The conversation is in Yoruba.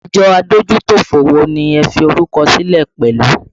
Àjọ adójútòfò wo ni ẹ fi orúkọ sílẹ̀ pẹ̀lú?